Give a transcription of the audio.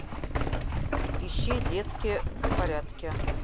ищи детки в порядке